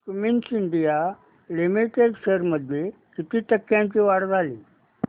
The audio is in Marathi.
क्युमिंस इंडिया लिमिटेड शेअर्स मध्ये किती टक्क्यांची वाढ झाली